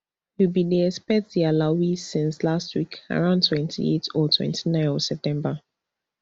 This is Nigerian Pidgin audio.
we bin dey expect di alawee since last week around twenty-eight or twenty-nine of september